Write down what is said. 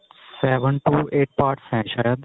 seven to eight parts ਹੈਂ ਸ਼ਾਇਦ